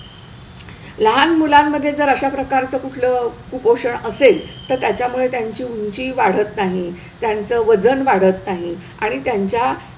लहान मुलांमध्ये जर अशा प्रकारचं कुठलं कुपोषण असेल तर त्याच्यामुळे त्यांची ऊंची वाढत नाही, त्यांचं वजन वाढत नाही आणि त्यांच्या,